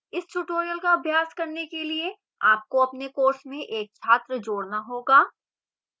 इस tutorial का अभ्यास करने के लिए आपको अपने course में एक छात्र जोड़ना होगा